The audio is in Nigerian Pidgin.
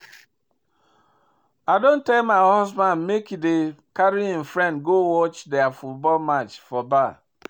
I don tell my husband make he dey carry im friends go watch their football match for bar